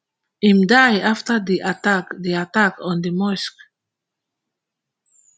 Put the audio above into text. im die afta di attack di attack on di mosque